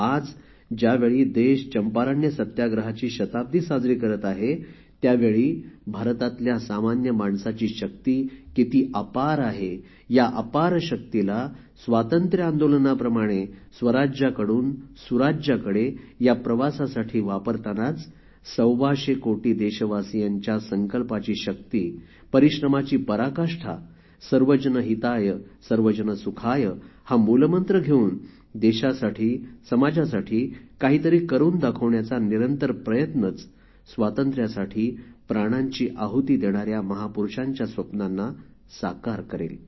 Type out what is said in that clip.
आज ज्यावेळी देश चंपारण्य सत्याग्रहाची शताब्दी साजरी करत आहे त्यावेळी भारतातल्या सामान्य माणसाची शक्ती किती अपार आहे या अपार शक्तीला स्वातंत्र्य आंदोलनाप्रमाणे स्वराज्याकडून सुराज्याकडे या प्रवासासाठी वापरतानाच सव्वाशे कोटी देशवासियांच्या संकल्पाची शक्ती परिश्रमाची पराकाष्ठा स्वजन हिताय स्वजन सुखाय हा मूलमंत्र घेऊन देशासाठी समाजासाठी काहीतरी करून दाखवण्याचा निरंतर प्रयत्नच स्वातंत्र्यासाठी प्राणांची आहुति देणाऱ्या महापुरुषांच्या स्वप्नांना साकार करेल